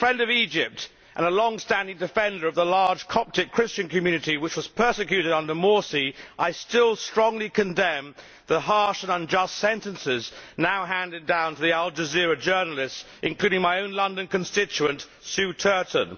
But, as a friend of Egypt and a long standing defender of the large Coptic Christian community which was persecuted under Morsi, I still strongly condemn the harsh and unjust sentences now handed down to the Al Jazeera journalists including my own London constituent Sue Turton.